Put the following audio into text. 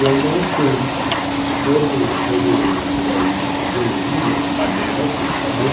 Eu não sei todo todo toda a ih a ideologia que tinha o movimento, porque eu tinha doze